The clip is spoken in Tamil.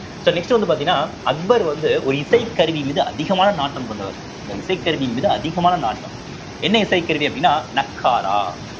so next வந்து பார்த்தீங்கன்னா அக்பர் வந்து ஒரு இசைக்கருவி மீது அதிகமான நாட்டம் கொண்டவர் இந்த இசைக்கருவியின் மீது அதிகமான நாட்டம் என்ன இசைக்கருவி அப்படின்னா நக்காரா